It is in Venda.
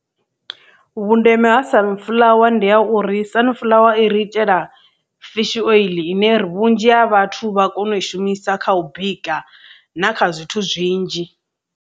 Vhundeme ha sunflower ndi ha uri sunflower i ri itela fishi oiḽi ine vhunzhi ha vhathu vha kona u i shumisa kha u bika na kha zwithu zwinzhi.